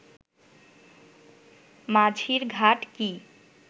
মাঝিরঘাট কি